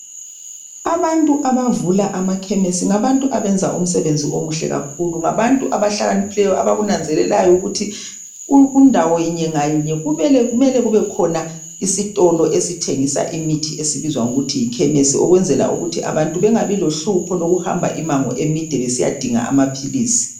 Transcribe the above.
Abantu abavula amakhemesi ngabantu abenza umsebenzi omuhle kakhulu. Ngabantu abahlakaniphileyo abakunanzelelayo ukuthi ku kundawo yinye ngayinye kubele kumele kubekhona isitolo esithengisa imithi edibizwa ngokuthi yikhemesi ukwenzela ukuthi abantu bengabi lohlupho lokuhamba imango emide besiyadinga amaphilisi.